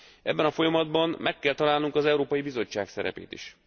Ebben a folyamatban meg kell találnunk az Európai Bizottság szerepét is.